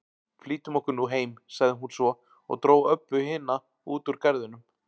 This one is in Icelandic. Flýtum okkur nú heim, sagði hún svo og dró Öbbu hina út úr garðinum.